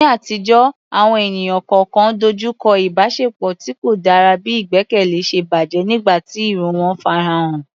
Ní àtijọ́, àwọn ènìyàn kọ̀ọ̀kan dojú kọ ìbáṣepọ̀ tí kò dára bí ìgbẹ́kẹ̀lé ṣe bàjẹ́ nígbà tí irọ́ wọn farahàn.